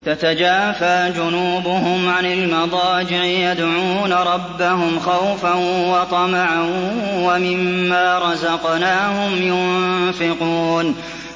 تَتَجَافَىٰ جُنُوبُهُمْ عَنِ الْمَضَاجِعِ يَدْعُونَ رَبَّهُمْ خَوْفًا وَطَمَعًا وَمِمَّا رَزَقْنَاهُمْ يُنفِقُونَ